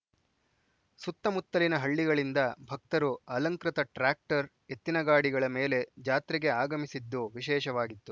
ಸುತ್ತಮುತ್ತಲಿನ ಹಳ್ಳಿಗಳಿಂದ ಭಕ್ತರು ಅಲಂಕೃತ ಟ್ರ್ಯಾಕ್ಟರ್‌ ಎತ್ತಿನ ಗಾಡಿಗಳ ಮೇಲೆ ಜಾತ್ರೆಗೆ ಆಗಮಿಸಿದ್ದು ವಿಶೇಷವಾಗಿತ್ತು